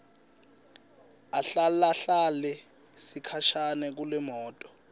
ahlalahlale sikhashana kulemoto